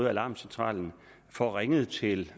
at alarmcentralen får ringet til